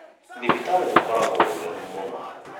Thibitarĩ gũkoragwo gũtheru mũno